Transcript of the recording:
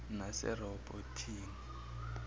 naserehoboti